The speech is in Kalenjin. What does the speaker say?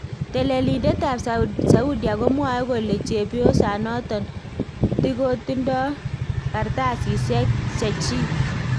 Teleliindetab Saudia komwae kole chebyosanoton , tikotindoo kartasisyeek chechik '